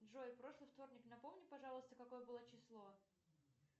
джой прошлый вторник напомни пожалуйста какое было число